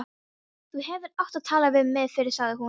Þú hefðir átt að tala við mig fyrr sagði hún.